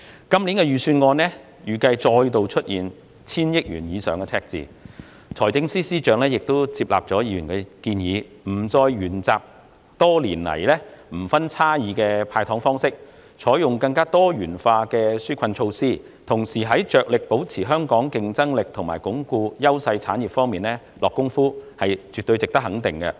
今年的預算案預計再度出現千億元以上的赤字，財政司司長亦接納了議員的建議，不再沿用多年來的"無差別派糖"方式，而是採用更多元化的紓困措施，同時致力保持香港的競爭力和鞏固優勢產業，這絕對值得肯定。